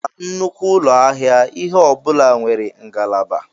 Na nnukwu ụlọ ahịa, ihe ọ bụla nwere ngalaba.